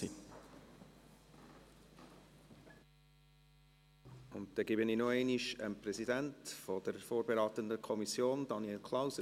Dann gebe ich noch einmal das Wort dem Präsidenten der vorberatenden Kommission, Daniel Klauser.